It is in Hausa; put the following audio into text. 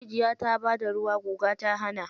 Rijiya ta bada ruwa guga ta hana.